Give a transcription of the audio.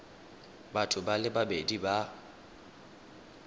batho ba le babedi ba